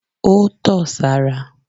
Ó tọ̀ sára.